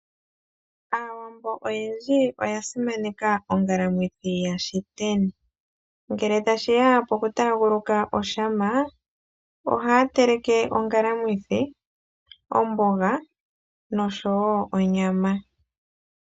Aawambo oyendji oya simaneka ongalamwithi yashiteni. Ngele tashiya po kutaaguluka oshama, ohaya teleke ongalamwithi ,omboga no sho wo onyama.